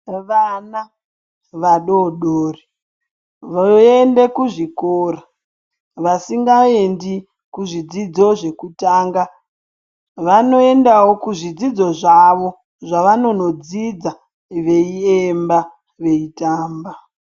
Vana vadoodori voende kuzvikora. Vasingaendi kuzvidzidzo zvekutanga vanoendawo kuzvidzidzo zvavo zvavanonodzidza veiemba veitamba.